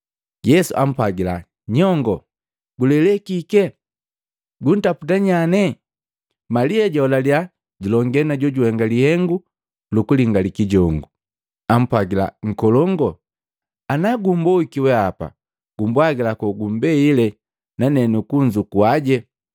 Yesu ampwagila, “Nyongoo, gulele kike? Guntaputa nyane?” Malia jaholaliya julongee na jojuhenga lihengu lukulingali kijongu, ampwagila, “Nkolongu, ana gumboiki wehapa gumbwagila kogumbeile nane nukunzukuaje.”